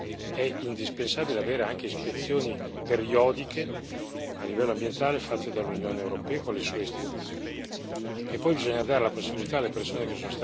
Per poterlo fare efficacemente è indispensabile avere anche ispezioni periodiche a livello ambientale fatte dall'Unione europea con le sue istituzioni.